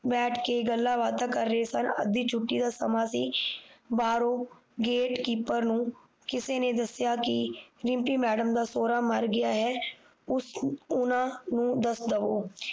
ਬੈਠ ਕ ਗੱਲਾਂ ਬਾਤਾਂ ਕਰ ਰਹੇ ਸਨ ਅੱਧੀ ਛੁੱਟੀ ਦਾ ਸਮਾਂ ਸੀ ਬਾਹਰੋਂ ਗੇਟਕੀਪਰ ਨੂੰ ਕਿਸੇ ਨੇ ਦਸਿਆ ਕਿ ਰਿਮਪੀ ਮੈਡਮ ਦਾ ਸੋਹਰਾ ਮਰ ਗਿਆ ਹੈ ਉਸ ਉਹਨਾਂ ਨੂੰ ਦੱਸ ਦਵੋ